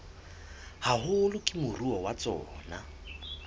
haholo ke moruo wa tsona